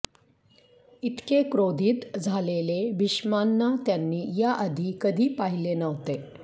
इतके क्रोधित झालेले भीष्मांना त्यांनी या आधी कधी पाहिले नव्हते